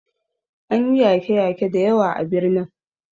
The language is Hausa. An yi yake yake da yawa a birnin